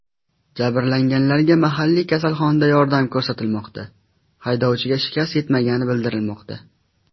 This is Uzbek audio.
Jabrlanganlarga mahalliy kasalxonada yordam ko‘rsatilmoqda, haydovchiga shikast yetmagani bildirilmoqda.